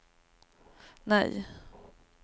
nej